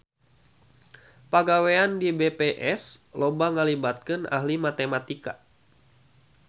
Pagawean di BPS loba ngalibatkeun ahli matematika